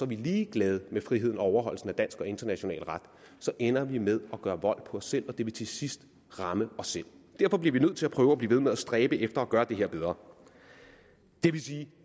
vi ligeglade med friheden og overholdelsen af dansk og international ret ender vi med at gøre vold på os selv og det vil til sidst ramme os selv derfor bliver vi nødt til at prøve at blive ved med at stræbe efter at gøre det her bedre det vil sige at